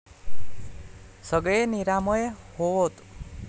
सगळे निरामय होवोत.